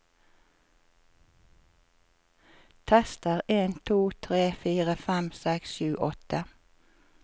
Tester en to tre fire fem seks sju åtte